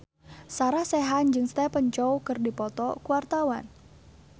Sarah Sechan jeung Stephen Chow keur dipoto ku wartawan